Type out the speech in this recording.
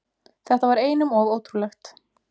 Þetta var einum of ótrúlegt.